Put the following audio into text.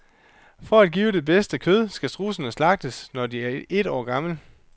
For at give det bedste kød skal strudsene slagtes, når de er et år gamle.